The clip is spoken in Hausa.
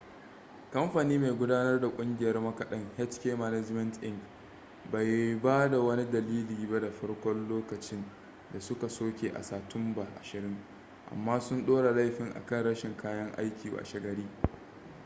kamfani mai gudanar da kungiyar makadan hk management inc bai ba da wani dalili ba da farko lokacin da suka soke a sa tumba 20 amma sun ɗora laifin a kan rashin kayan aiki washe gari